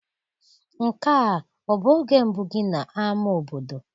Nke a ọ bụ oge mbụ gị n'ama obodo?